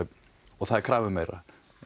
og það er krafa um meira